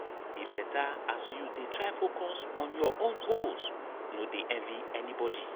e beta as you dey try focus on your own goals no dey envy anybodi.